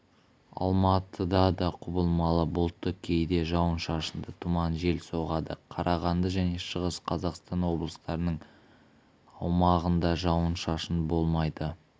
алматыда да құбылмалы бұлтты кейде жауын-шашынды тұман жел соғады қарағанды және шығыс қазақстан облыстарының аумағындажауын-шашын болмайды